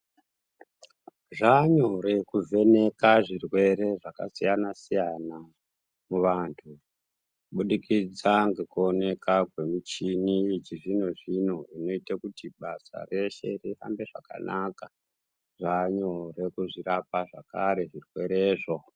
Zvanyo rekuvheneka zvirwere zvkasiyana-siyana muvantu kubudikidza nekuonekwa nemishini yechizvino-zvino inoita kuti basa rese rifambe zvakanaka, zvanyo rekuzvirapa zvakare zvirwerezvo.